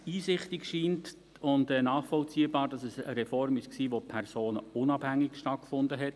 Was uns einsichtig und nachvollziehbar scheint, ist, dass es eine Reform war, die personenunabhängig stattgefunden hat.